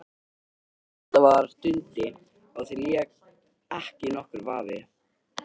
Þetta var Dundi, á því lék ekki nokkur vafi.